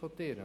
können.